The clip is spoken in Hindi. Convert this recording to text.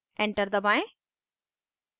enter दबाएं